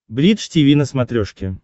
бридж тиви на смотрешке